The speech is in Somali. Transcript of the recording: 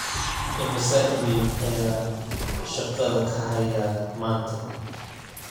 imise iimayl ayaan shaqada ka hayaa maanta